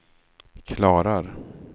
klarar